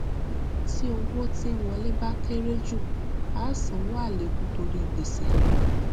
tí owó tí ń wọlé bá kere ju á sanwó àlékún torí gbèsè